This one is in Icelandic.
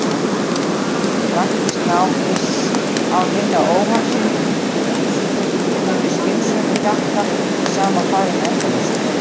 Praktískt nám, iss- án hinna óhagsýnu munu hinir skynsömu hjakka í sama farinu endalaust.